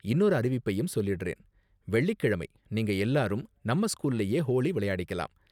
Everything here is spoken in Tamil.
இன்னொரு அறிவிப்பையும் சொல்லிடுறேன், வெள்ளிக்கிழமை நீங்க எல்லாரும் நம்ம ஸ்கூல்லயே ஹோலி விளையாடிக்கலாம்.